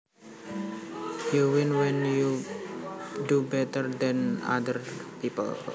You win when you do better than other people